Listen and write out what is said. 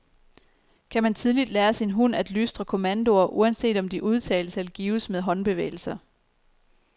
Kan man tidligt lære sin hund at lystre kommandoer, uanset om de udtales eller gives med håndbevægelser?